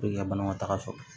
i ka bana ma taga sɔrɔ